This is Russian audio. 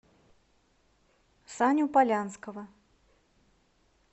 саню полянского